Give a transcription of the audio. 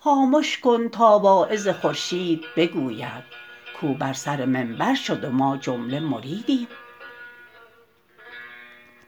خامش کن تا واعظ خورشید بگوید کاو بر سر منبر شد و ما جمله مریدیم